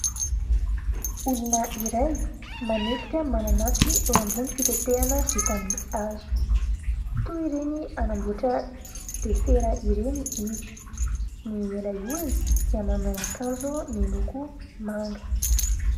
Olona iray manetika mananasy eo ambony fitetehana vita amin'ny hazo toy ireny hanamboatra desera ireny izy, ilay olona dia manao akanjo miloko manga.